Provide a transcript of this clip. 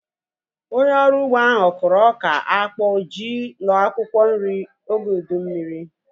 Onye ọrụ ugbo ahu kụrụ ọka, akpụ, ji na akwụkwọ nri oge ụdị mmiri